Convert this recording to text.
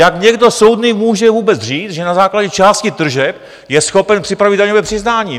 Jak někdo soudný může vůbec říct, že na základě části tržeb je schopen připravit daňové přiznání?